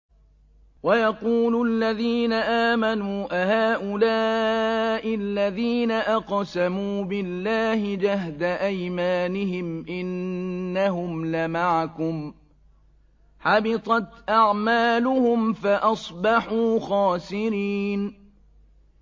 وَيَقُولُ الَّذِينَ آمَنُوا أَهَٰؤُلَاءِ الَّذِينَ أَقْسَمُوا بِاللَّهِ جَهْدَ أَيْمَانِهِمْ ۙ إِنَّهُمْ لَمَعَكُمْ ۚ حَبِطَتْ أَعْمَالُهُمْ فَأَصْبَحُوا خَاسِرِينَ